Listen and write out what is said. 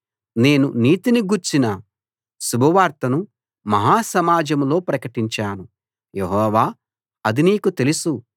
నేను నీతిని గూర్చిన శుభవార్తను మహా సమాజంలో ప్రకటించాను యెహోవా అది నీకు తెలుసు